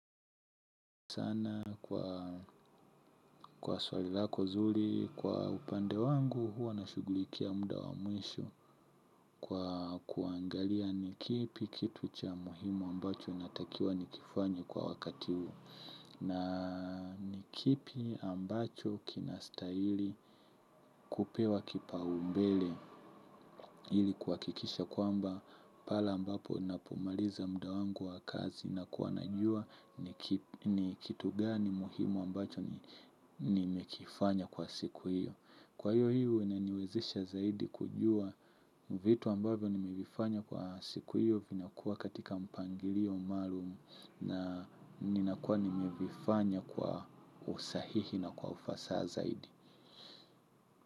Sana kwa swali lako zuri, kwa upande wangu huwa nashughulikia muda wa mwisho kwa kuangalia ni kipi kitu cha muhimu ambacho natakiwa nikifanye kwa wakati huu na ni kipi ambacho kinastahili kupewa kipaumbele ili kuhakikisha kwamba pahala ambapo ninapomaliza mda wangu wa kazi nakuwa najua ni ni kitu gani muhimu ambacho nimekifanya kwa siku hiyo. Kwa hiyo hiyo inaniwezesha zaidi kujua vitu ambavyo nimevifanya kwa siku hiyo vinakuwa katika mpangilio maalumu. Na ninakuwa nimevifanya kwa usahihi na kwa ufasaha zaidi.